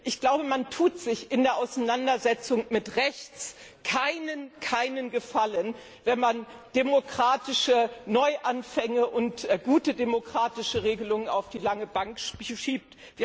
Problem! Ich glaube, man tut sich in der Auseinandersetzung mit Rechts keinen Gefallen, wenn man demokratische Neuanfänge und gute demokratische Regelungen auf die lange Bank